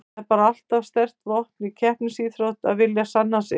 Það er bara alltaf sterkt vopn í keppnisíþróttum að vilja sanna sig.